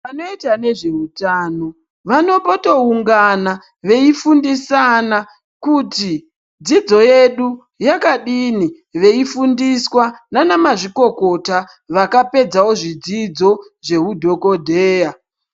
Vanoita nezveutano vanombotoungana veifundisa ana kuti dzidzo yedu yakadini veifundiswa nana mazvikokota vakapedzao zvidzidzo zveudhokodheya.